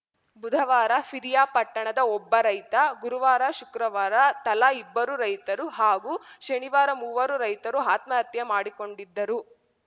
ಬುಧವಾರ ಪಿರಿಯಾಪಟ್ಟಣದ ಒಬ್ಬ ರೈತ ಗುರುವಾರ ಶುಕ್ರವಾರ ತಲಾ ಇಬ್ಬರು ರೈತರು ಹಾಗೂ ಶನಿವಾರ ಮೂವರು ರೈತರು ಆತ್ಮಹತ್ಯೆ ಮಾಡಿಕೊಂಡಿದ್ದರು